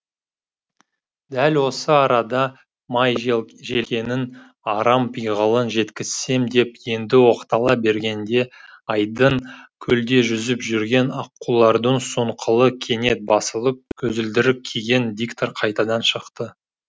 дәл осы арада жегенін арам пиғылын жеткізсем деп енді оқтала бергенде айдын көлде жүзіп жүрген аққулардың сұңқылы кенет басылып көзілдірік киген диктор қайтадан шықты